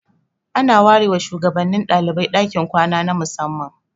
An ware wa shugabannin dalibai dakin kwana na musamman.